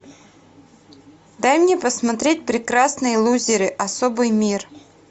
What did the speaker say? дай мне посмотреть прекрасные лузеры особый мир